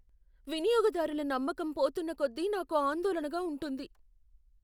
వినియోగదారుల నమ్మకం పోతున్నకొద్దీ నాకు ఆందోళనగా ఉంటుంది.